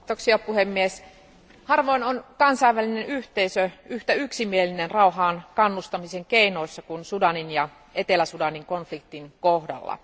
Arvoisa puhemies, harvoin on kansainvälinen yhteisö yhtä yksimielinen rauhaan kannustamisen keinoissa kuin Sudanin ja Etelä Sudanin konfliktin kohdalla.